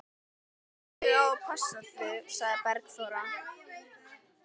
Ég á að passa þig, sagði Bergþóra.